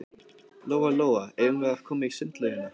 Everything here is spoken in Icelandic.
Lóa-Lóa, eigum við að koma í sundlaugina?